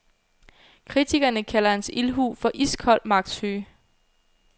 Kritikerne kalder hans ildhu for iskold magtsyge.